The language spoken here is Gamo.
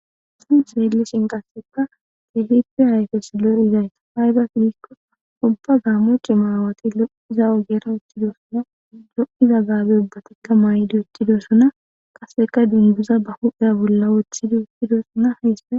s seellishin qasseka teehipe hayfes lo7izayta hayba fidikko ubba gaammoche maawati lo7i za7o gera wutidosuna do7iza gaabe ubbatikka maayidi uttidosuna qaseka dinduza ba hudheya bolla woththidi uttidosuna hayse